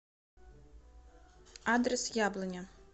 адрес яблоня